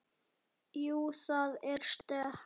Jú, það er stökk.